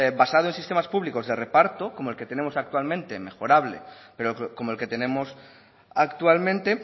basado en sistemas públicos de reparto como el que tenemos actualmente mejorable pero como el que tenemos actualmente